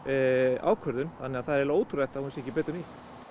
ákvörðun þannig að það er eiginlega ótrúlegt að hún sé ekki betur nýtt